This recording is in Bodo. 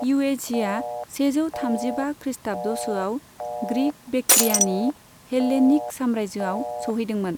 युएझीआ सेजौ थामजिबा खृष्टाब्द'सोआव ग्रिक' बेक्ट्रियानि हेल्लेनिक साम्रायजोआव सौहैदोंमोन।